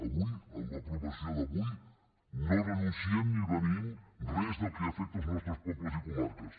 avui amb l’aprovació d’avui no renunciem ni beneïm res del que afecta els nostres pobles i comarques